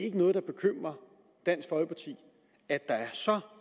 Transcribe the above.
ikke noget der bekymrer dansk folkeparti at der er så